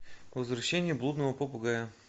возвращение блудного попугая